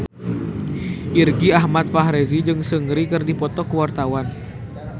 Irgi Ahmad Fahrezi jeung Seungri keur dipoto ku wartawan